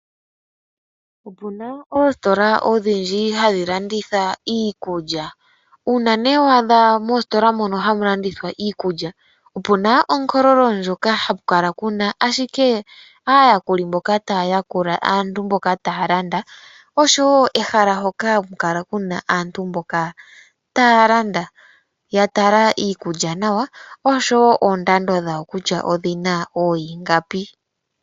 Opu na oositola odhindji hadhi landitha iikulya. Uuna wa adha mositola moka hamu landithwa iikulya, opu na onkolololo ndjoka hayi kala ashike aayakuli mboka taya yakula aantu mboka taya landa, oshowo ehala hoka haku kala ku na aantu taya landa, ya tala iikulya nawa, oshowo oondando dhawo kutya oyi na ooingapi.